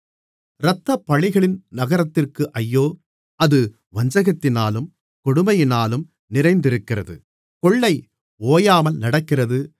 இரத்தப்பழிகளின் நகரத்திற்கு ஐயோ அது வஞ்சகத்தினாலும் கொடுமையினாலும் நிறைந்திருக்கிறது கொள்ளை ஓயாமல் நடக்கிறது